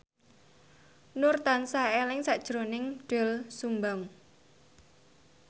Nur tansah eling sakjroning Doel Sumbang